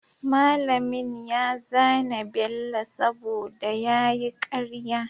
mallamin ya zane bello saboda yayi karya